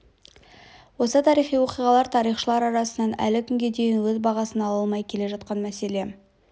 осы тарихи оқиғалар тарихшылар арасынан әлі күнге дейін өз бағасын ала алмай келе жатқан мәселе